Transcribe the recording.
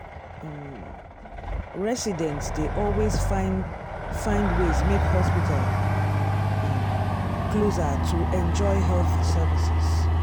um residents dey always find find ways make hospital um closer to enjoy health services.